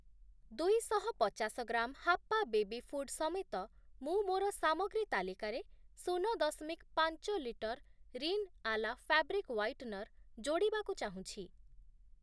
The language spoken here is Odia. ଦୁଇଶହ ପଚାଶ ଗ୍ରାମ୍ ହାପ୍ପା ବେବୀ ଫୁଡ୍ ସମେତ ମୁଁ ମୋର ସାମଗ୍ରୀ ତାଲିକାରେ ଶୂନ ଦଶମିକ୍ ପାଞ୍ଚ litre Rin Ala fabric whitener ଯୋଡ଼ିବାକୁ ଚାହୁଁଛି ।